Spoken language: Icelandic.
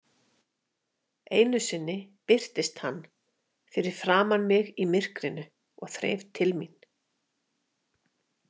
Einu sinni birtist hann fyrir framan mig í myrkrinu og þreif til mín.